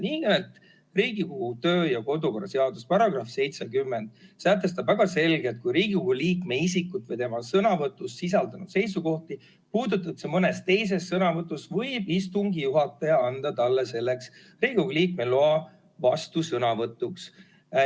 Nimelt, Riigikogu kodu- ja töökorra seaduse § 70 sätestab väga selgelt: kui Riigikogu liikme isikut või tema sõnavõtus sisaldunud seisukohti puudutatakse mõnes teises sõnavõtus, võib istungi juhataja anda sellele Riigikogu liikmele loa vastusõnavõtuks.